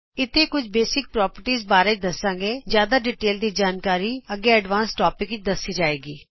ਇਥੇ ਕੁਝ ਮੁੱਢਲੀ ਪ੍ਰੋਪਰਟੀਜ਼ ਬਾਰੇ ਦੱਸਾਂਗੇ ਜਿਆਦਾ ਵੇਰਵੇ ਦੀ ਜਾਣਕਾਰੀ ਅੱਗੇ ਦੱਸੀ ਜਾਏਗੀ